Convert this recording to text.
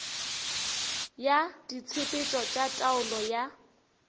ya ditshepetšo tša taolo ya